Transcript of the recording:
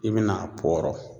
I bɛ n'a pɔɔrɔ.